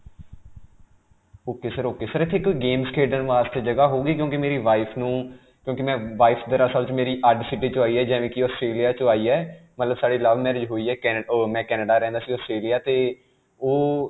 ok sir. ok. sir, ਇਥੇ ਇਕ games ਖੇਡਣ ਵਾਸਤੇ ਜਗ੍ਹਾ ਹੋਵੇਗੀ ਕਿਉਂਕਿ ਮੇਰੀ wife ਨੂੰ, ਕਿਉਂਕਿ ਮੈਂ wife ਦਰਅਸਲ 'ਚ ਮੇਰੀ city 'ਚੋਂ ਆਈ ਹੈ, ਜਿਵੇਂ ਕਿ Australia 'ਚੋਂ ਆਈ ਹੈ, ਮਤਲਬ ਸਾਡੀ love marriage ਹੋਈ ਹੈ ਕੇਕੇ ਉਹ ਮੈਂ Canada ਰਹਿੰਦਾ ਸੀ ਉਹ Australia. 'ਤੇ ਉਹ.